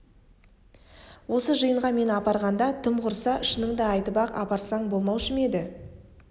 осы жиынға мені апарғанда тым құрса шыныңды айтып-ақ апарсаң болмаушы ма еді